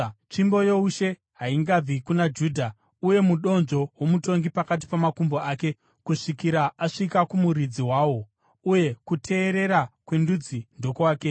Tsvimbo youshe haingabvi kuna Judha, uye mudonzvo womutongi pakati pamakumbo ake, kusvikira asvika kumuridzi wawo, uye kuteerera kwendudzi ndokwake.